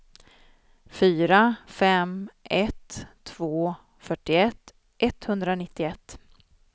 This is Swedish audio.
fyra fem ett två fyrtioett etthundranittioett